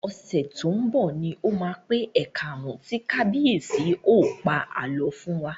Ọ̀sẹ̀ tó ń bọ̀ ni ó máa pé ẹ̀kaàrún tí kábíyèsí ó pa àlọ́ fún wa